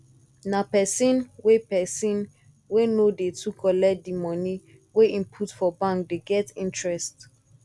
na pesin wey pesin wey no dey too collect di moni wey im put for bank dey get interest